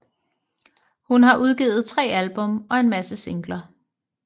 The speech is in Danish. Hun har udgivet tre album og en masse singler